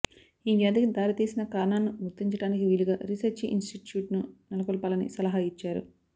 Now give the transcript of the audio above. ఈ వ్యాధికి దారి తీసిన కారణాలను గుర్తించడానికి వీలుగా రీసెర్చి ఇనిస్టిట్యూట్ను నెలకొల్పాలని సలహా ఇచ్చారు